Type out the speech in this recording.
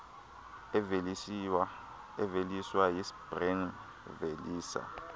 eziveliswa yicbnrm velisa